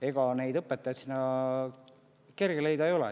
Ega sinna õpetajaid leida kerge ei ole.